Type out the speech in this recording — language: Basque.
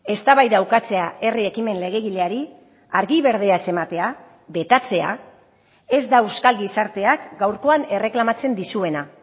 eztabaida ukatzea herri ekimen legegileari argi berdea ez ematea betatzea ez da euskal gizarteak gaurkoan erreklamatzen dizuena